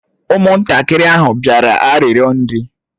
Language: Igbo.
Ụmụntakịrị ahụ bịara ịrịọ nri